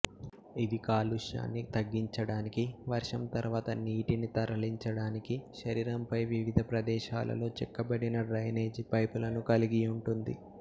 ఇది కాలుష్యాన్ని తగ్గించడానికి వర్షం తర్వాత నీటిని తరలించడానికి శరీరంపై వివిధ ప్రదేశాలలో చెక్కబడిన డ్రైనేజీ పైపులను కలిగి ఉంటుంది